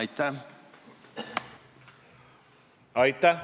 Aitäh!